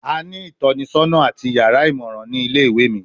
A ni itọnisọna ati yara imọran ni ile-iwe mi